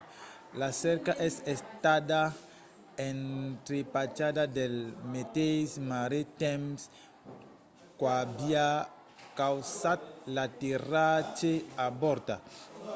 la cerca es estada entrepachada pel meteis marrit temps qu'aviá causat l'aterratge avortat